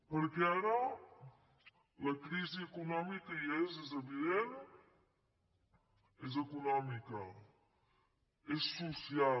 perquè ara la crisi econòmica hi és és evident és econòmica és social